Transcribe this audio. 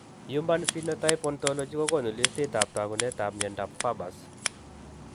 HUman phenotype ontology kokoonu listiitab taakunetaab myondap Farber's